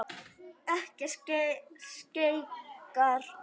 Ekki skeikar neinu.